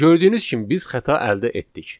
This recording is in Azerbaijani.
Gördüyünüz kimi biz xəta əldə etdik.